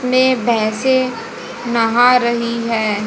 में भैंसे नहा रही है।